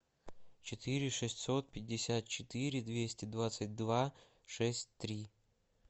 четыре шестьсот пятьдесят четыре двести двадцать два шесть три